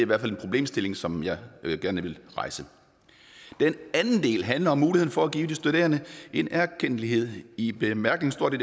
hvert fald en problemstilling som jeg gerne vil rejse den anden del handler om muligheden for at give de studerende en erkendtlighed i bemærkningerne